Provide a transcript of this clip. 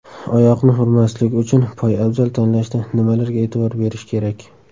Oyoqni urmasligi uchun poyabzal tanlashda nimalarga e’tibor berish kerak?.